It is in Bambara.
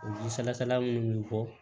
Ji salasala minnu bɔ